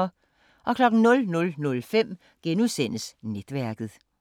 00:05: Netværket *